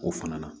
O fana na